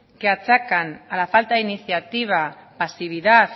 que achacan a la falta de iniciativa pasividad